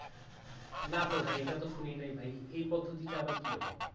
না তো ভাই এটা তো শুনিনি ভাই এ পদ্ধতিটা আবার কি রকম?